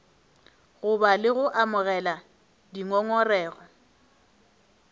goba le go amogela dingongorego